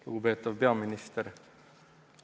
Lugupeetav peaminister!